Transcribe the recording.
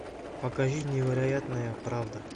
покажи невероятная правда